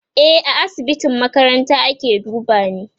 e A asibitin makaranta ake dubani